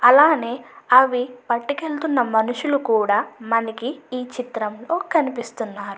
అలానే అవి పట్టుకెళ్తున్న మనుషులు కూడా మనకి ఈ చిత్రంలో కనిపిస్తున్నారు.